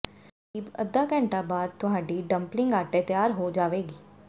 ਕਰੀਬ ਅੱਧਾ ਘੰਟਾ ਬਾਅਦ ਤੁਹਾਡੀ ਡੰਪਲਿੰਗ ਆਟੇ ਤਿਆਰ ਹੋ ਜਾਵੇਗੀ